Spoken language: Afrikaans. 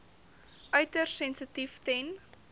uiters sensitief ten